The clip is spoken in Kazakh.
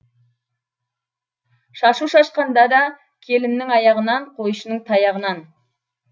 шашу шашқанда да келіннің аяғынан қойшының таяғынан